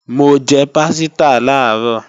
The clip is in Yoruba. Mo jẹ pásítà làárọ̀